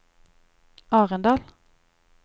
Arendal